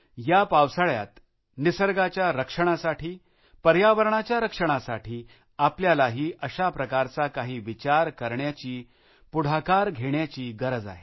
या पावसाळ्यात निसर्गाच्या रक्षणासाठी पर्यावरणाच्या रक्षणासाठी आपल्यालाही अशाप्रकारचा काही विचार करण्याची काही करण्यासाठी पुढाकार घेण्याची गरज आहे